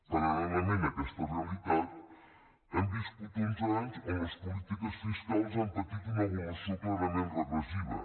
paral·lelament a aquesta realitat hem viscut uns anys on les polítiques fiscals han patit una evolució clarament regressiva